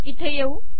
इथे येऊ